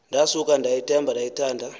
ndasuka ndathemba ndayithanda